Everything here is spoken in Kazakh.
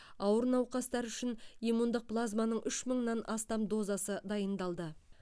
ауыр науқастар үшін иммундық плазманың үш мыңнан астам дозасы дайындалды